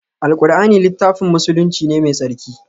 Alqur'ani littafin musulunci ne mai tsarki